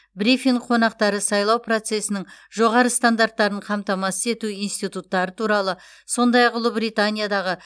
брифинг қонақтары сайлау процесінің жоғары стандарттарын қамтамасыз ету институттары туралы сондай ақ ұлыбританиядағы